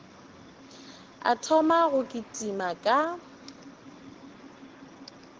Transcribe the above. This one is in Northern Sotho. a thoma go kitima ka